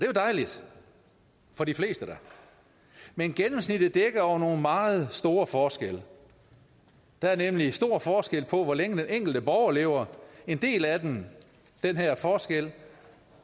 jo dejligt for de fleste da men gennemsnittet dækker over nogle meget store forskelle der er nemlig stor forskel på hvor længe den enkelte borger lever en del af den den her forskel